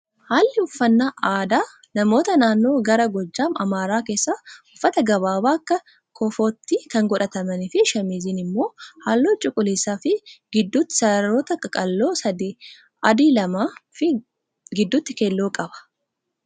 Haalli uffannaa aadaa namoota naannoo gara Gojjam Amaaraa keessaa uffata gababaa akka kofootti kan godhatanii fi shaamiziin immoo halluu cuquliisaa fi gidduutti sararoota qaqal'oo sadii adii lamaa fi gidduutti keelloo qaba.